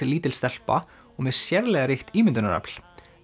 lítil stelpa og með sérlega ríkt ímyndunarafl